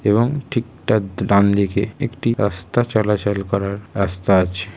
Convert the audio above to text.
এবং ঠিক তার দ ডানদিকে একটি রাস্তা চলাচল করার রাস্তা আছে।